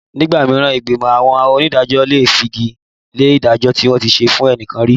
Nígbà mìíràn ìgbìmọ̀ àwọn onídàájọ́ lè fagi lé ìdájọ́ tí wọ́n ti ṣe fẹ́nìkan rí